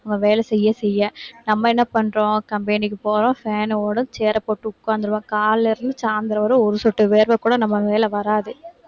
வேலை செய்ய, செய்ய. நம்ம என்ன பண்றோம்? company க்கு போறோம் fan ஓட chair அ போட்டு உட்கார்ந்திருவேன். காலையில இருந்து சாயந்திரம் வரை ஒரு சொட்டு வேர்வை கூட நம்ம மேல வராது